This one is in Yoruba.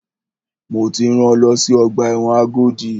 Mo ti rán lọ sí ọgbà ẹ̀wọ̀n Agodi!